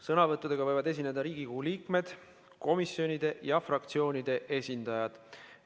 Sõnavõtuga võivad esineda Riigikogu liikmed, komisjonide ja fraktsioonide esindajad.